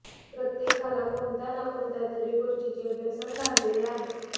प्रत्येकाला कोणत्या ना कोणत्या तरी गोष्टींचे व्यसन लागलेले आहे